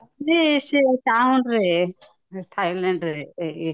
thailand ରେ